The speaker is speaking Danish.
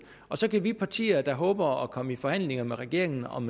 og så kan vi partier der håber at komme i forhandlinger med regeringen om